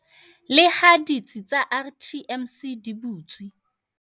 Leha ditsi tsa RTMC di butswe